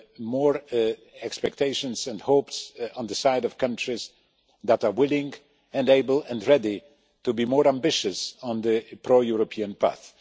more expectations and hopes on the side of countries that are willing and able and ready to be more ambitious on the pro European path.